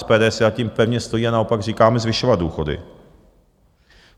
SPD si za tím pevně stojí a naopak říkáme: zvyšovat důchody.